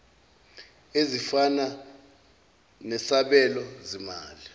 ezifana nesabelo zimali